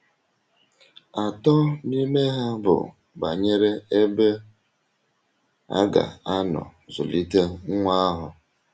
Atọ n’ime ha bụ banyere ebe a ga - anọ zụlite nwa ahụ.